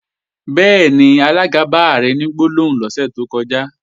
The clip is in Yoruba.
Bẹ́ẹ̀ni, alága bá Ààrẹ ní gbólóhùn lọ́sẹ̀ tó kọjá